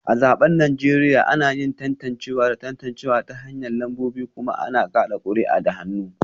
A zabukan Najeriya, ana yin tantancewa da tantancewa ta hanyar lambobi kuma ana kada kuri'a da hannu